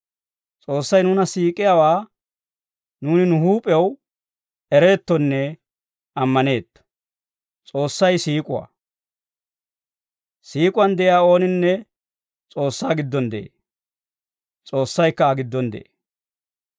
S'oossay nuuna siik'iyaawaa nuuni nu huup'ew ereettonne ammaneetto. S'oossay siik'uwaa. Siik'uwaan de'iyaa ooninne S'oossaa giddon de'ee; S'oossaykka Aa giddon de'ee.